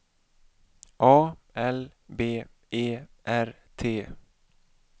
A L B E R T